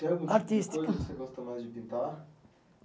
Artística Tem alguma coisa que você gosta mais de pintar?